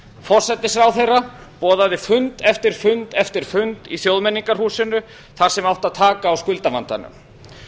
forsætisráðherra boðaði fund eftir fund eftir fund í þjóðmenningarhúsinu þar sem átti að taka á skuldavandanum